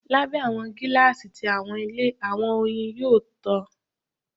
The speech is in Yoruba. Labẹ awọ gilasi ti awọn ile, awọn oyin yoo tan